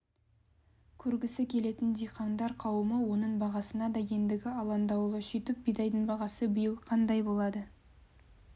көргісі келетін диқандар қауымы оның бағасына да ендігі алаңдаулы сөйтіп бидайдың бағасы биыл қандай болады